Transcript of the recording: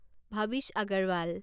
Bhavish Agarwal